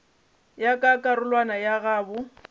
ya ka karolwana ya goba